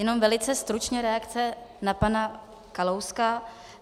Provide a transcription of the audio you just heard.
Jenom velice stručně reakce na pana Kalouska.